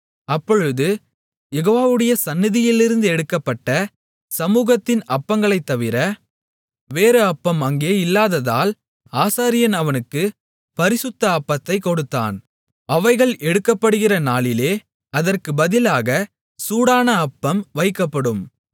அப்பொழுது யெகோவாவுடைய சந்நிதியிலிருந்து எடுக்கப்பட்ட சமூகத்தின் அப்பங்களைத்தவிர வேறு அப்பம் அங்கே இல்லாததால் ஆசாரியன் அவனுக்குப் பரிசுத்த அப்பத்தை கொடுத்தான் அவைகள் எடுக்கப்படுகிற நாளிலே அதற்குப் பதிலாகச் சூடான அப்பம் வைக்கப்படும்